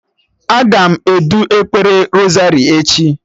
Aga m edu ekpere rosari echi